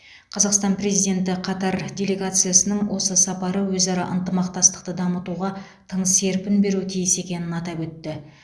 қазақстан президенті қатар делегациясының осы сапары өзара ынтымақтастықты дамытуға тың серпін беруі тиіс екенін атап өтті